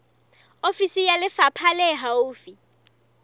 ofisi ya lefapha le haufi